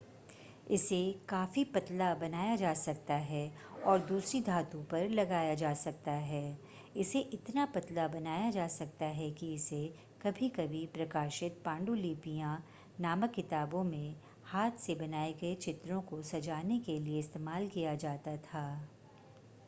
इसे काफ़ी पतला बनाया जा सकता है और दूसरी धातु पर लगाया जा सकता है इसे इतना पतला बनाया जा सकता है कि इसे कभी-कभी प्रकाशित पांडुलिपियां नामक किताबों में हाथ से बनाए गए चित्रों को सजाने के लिए इस्तेमाल किया जाता था